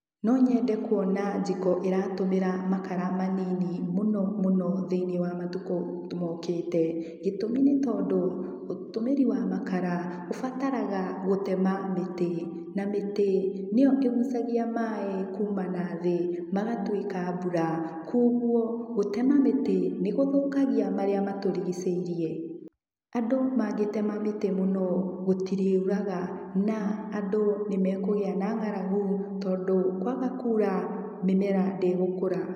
No nyende kuona jiko ĩratũmĩra makara manini mũno mũno thĩiniĩ wa matukũ mokĩte. Gĩtumi nĩ tondũ, ũtũmĩri wa makara, ũbataraga gũtema mĩtĩ, na mĩtĩ, nĩyo ĩgucagia maĩ kuma nathĩ, magatuĩka mbura. Koguo gũtema mĩtĩ, nĩ gũthũkagia marĩa matũrigicĩirie. Andũ mangĩtema mĩtĩ mũno, gũtiriuraga, na andũ nĩ makũgĩa na ngaragu tondũ kwaga kura, mĩmera ndĩgũkũra.